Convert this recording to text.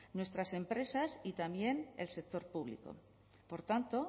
nuestras empresas y también el sector público por tanto